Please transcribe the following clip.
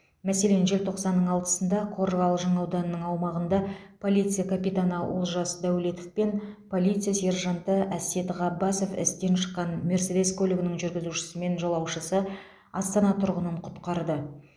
мәселен желтоқсанның алтысында қорғалжын ауданының аумағында полиция капитаны олжас дәулетов пен полиция сержанты әсет ғаббасов істен шыққан мерседес көлігінің жүргізушісі мен жолаушысы астана тұрғынын құтқарды